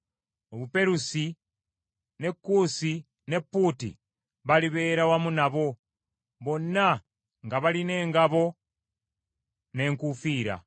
Obuperusi, ne Kuusi ne Puuti balibeera wamu nabo, bonna nga balina engabo n’enkuufiira;